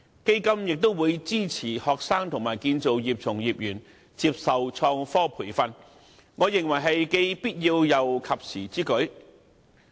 基金也會支持學生和建造業從業員接受創科培訓，我認為這是既必要又及時之舉。